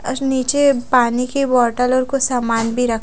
और निचे पानी की बोतल और कुछ सामान भी रखा --